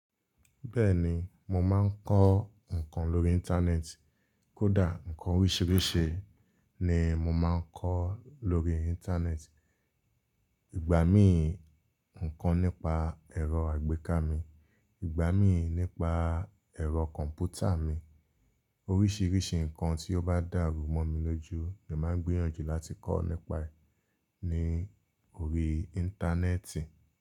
Bẹ́ẹ̀ni, mo máa ń kọ́ ǹkan lórí Íńtánẹ́ẹ̀tì. Kódà ǹkan oríṣìíríṣìí ni mo máa ń kọ́ lórí Íńtánẹ́ẹ̀tì. Ìgbà míi ǹkan nípa ẹ̀rọ àgbéká mi, ìgbà mí nípa ẹ̀rọ kọ̀m̀pútà mi. Oríṣìíríṣìí ǹkan tí ó bá dàrú mọ́ mi lójú, èmi máa ń gbiyànjú láti kọ́ nípa rẹ̀ ní orí Íńtánẹ́ẹ̀tì.